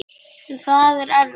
En það er erfitt.